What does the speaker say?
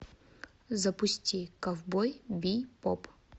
запусти ковбой бибоп